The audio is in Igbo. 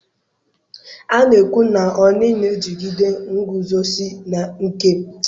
A na-ekwu na Oni na-ejigide nguzozi nke eluigwe na ala.